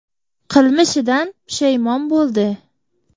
Qilmishidan pushaymon bo‘ldi.